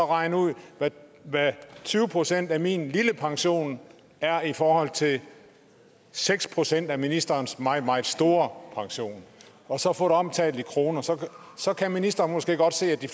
regn ud hvad tyve procent af min lille pension er i forhold til seks procent af ministerens meget meget store pension og så få dem omsat i kroner så så kan ministeren måske godt se at de